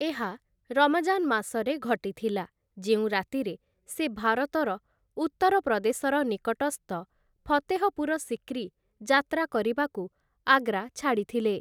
ଏହା ରମଜାନ ମାସରେ ଘଟିଥିଲା, ଯେଉଁ ରାତିରେ ସେ ଭାରତର ଉତ୍ତରପ୍ରଦେଶର ନିକଟସ୍ଥ ଫତେହପୁର ସିକ୍ରି ଯାତ୍ରା କରିବାକୁ, ଆଗ୍ରା ଛାଡ଼ିଥିଲେ ।